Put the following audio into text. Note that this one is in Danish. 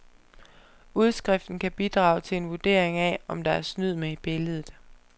Udskriften kan bidrage til en vurdering af, om der er snyd med i billedet.